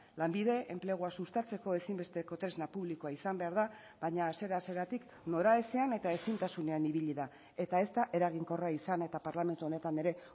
lanbide enplegua sustatzeko ezinbesteko tresna publikoa izan behar da baina hasiera hasieratik noraezean eta ezintasunean ibili da eta ez da eraginkorra izan eta parlamentu honetan ere